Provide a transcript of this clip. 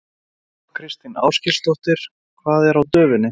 Þóra Kristín Ásgeirsdóttir: Hvað er á döfinni?